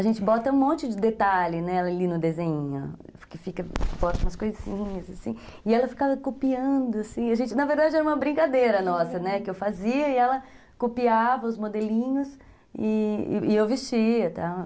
A gente bota um monte de detalhe, né, ali no desenhinho, que fica, bota umas coisinhas, assim, e ela ficava copiando, assim, a gente, na verdade, era uma brincadeira nossa, né, uhum, que eu fazia e ela copiava os modelinhos e eu vestia, tal